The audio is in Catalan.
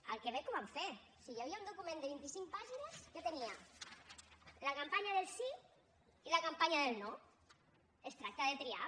al quebec ho van fer hi havia un document de vint i cinc pàgines que tenia la campanya del sí i la campanya del no es tracta de triar